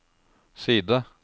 side